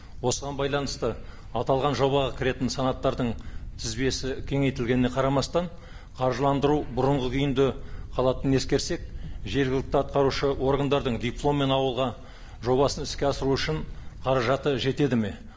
осыған байланысты аталған жобаға кіретін санаттардың тізбесі кеңейтілгеніне қарамастан қаржыландыру бұрынғы күйінде қалатынын ескерсек жергілікті атқарушы органдардың дипломмен ауылға жобасын іске асыру үшін қаражаты жетеді ме